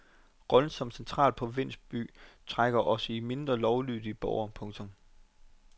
Rollen som central provinsby trækker også i de mindre lovlydige borgere. punktum